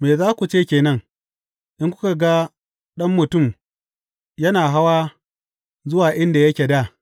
Me za ku ce ke nan, in kuka gan Ɗan Mutum yana hawa zuwa inda yake dā!